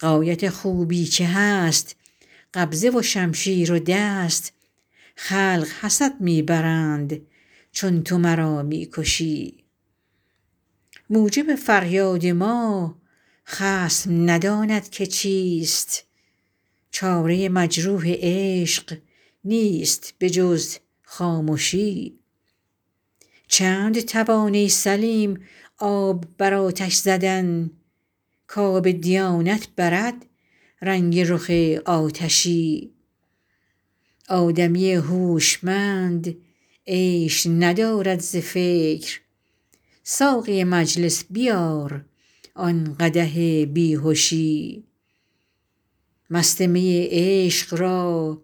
غایت خوبی که هست قبضه و شمشیر و دست خلق حسد می برند چون تو مرا می کشی موجب فریاد ما خصم نداند که چیست چاره مجروح عشق نیست به جز خامشی چند توان ای سلیم آب بر آتش زدن کآب دیانت برد رنگ رخ آتشی آدمی هوشمند عیش ندارد ز فکر ساقی مجلس بیار آن قدح بی هشی مست می عشق را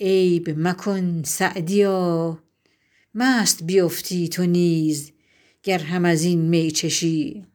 عیب مکن سعدیا مست بیفتی تو نیز گر هم از این می چشی